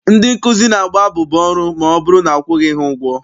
Ndị nkụzi na-agba abụba ọrụ ma ọbụrụ na akwụghị ha ụgwọ ọrụ.